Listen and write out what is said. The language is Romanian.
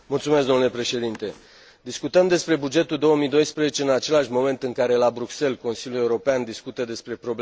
Discutăm despre bugetul 2012 în același moment în care, la Bruxelles, Consiliul European discută despre problemele bugetare naționale.